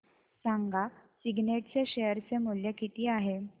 सांगा सिग्नेट चे शेअर चे मूल्य किती आहे